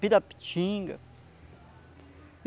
Pirapitinga.